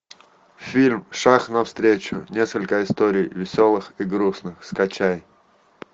фильм шаг навстречу несколько историй веселых и грустных скачай